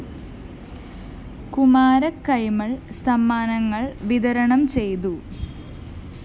കുമാരകൈമള്‍ സമ്മാനങ്ങള്‍ വിതരണം ചെയ്തു